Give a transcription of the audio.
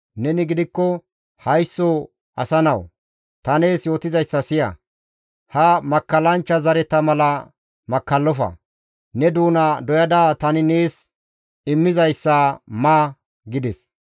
Neni gidikko haysso asa nawu! Ta nees yootizayssa siya! He makkallanchcha zareta mala makkallofa; ne doona doyada tani nees immizayssa ma» gides.